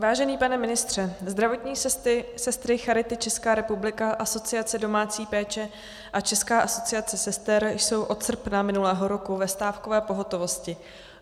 Vážený pane ministře, zdravotní sestry Charity Česká republika, Asociace domácí péče a České asociace sester jsou od srpna minulého roku ve stávkové pohotovosti.